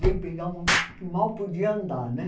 Veio pegar uma que mal podia andar, né?